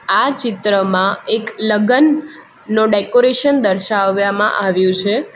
આ ચિત્રમાં એક લગન નો ડેકોરેશન દર્શાવયામાં આવ્યું છે.